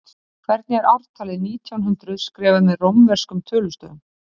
Hvernig er ártalið nítján hundruð skrifað með rómverskum tölustöfum?